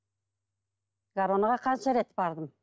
гороно ға қанша рет бардым